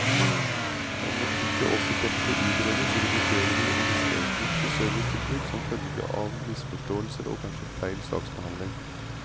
Om ikke også dette utredes, risikerer vi å miste et viktig servicetilbud som følge av misforståelser og kanskje feil saksbehandling.